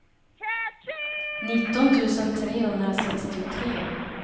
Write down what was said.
nitton tusen trehundrasextiotre